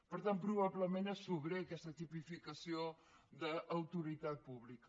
per tant probablement és sobrera aquesta tipificació de autoritat pública